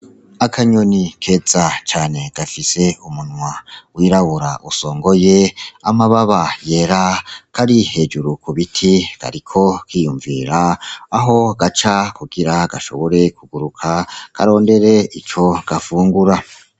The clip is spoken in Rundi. Akanyoni keza cane gafise umunwa w'irabura usongoye, amababa yera kari hejuru ku biti, kariko kiyumvira aho gaca kugira gashobore kuguruka, karondere ico gafungura.